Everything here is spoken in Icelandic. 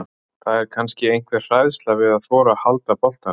Það var kannski einhver hræðsla við að þora að halda boltanum.